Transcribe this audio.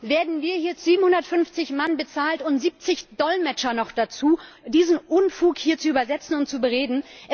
Werden wir mit 750 Mann bezahlt und 70 Dolmetscher noch dazu, diesen Unfug hier zu bereden und zu übersetzen?